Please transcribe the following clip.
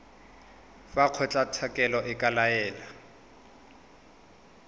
fa kgotlatshekelo e ka laela